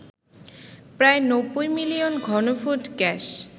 প্রায় ৯০ মিলিয়ন ঘনফুট গ্যাস